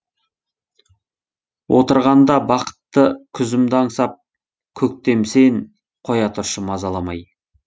отырғанда бақытты күзімді аңсап көктем сен қоя тұршы мазаламай